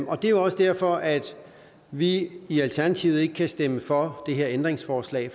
og det er jo også derfor at vi i alternativet ikke kan stemme for det her ændringsforslag